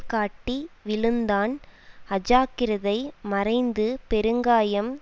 காட்டி விழுந்தான் அஜாக்கிரதை மறைந்து பெருங்காயம்